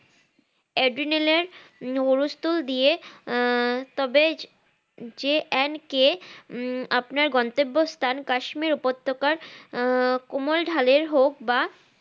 অ্যাড্রিনালের নুরোস্থ দিয়ে আহ তবে JNK উম আপনার গন্তব্য স্থান কাশ্মীর উপত্যকার আহ কমল ঢালের হোক বা